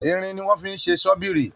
Irin ni wón fi ṣe ṣọ́bìrì